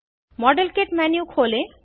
model kit menu खोलें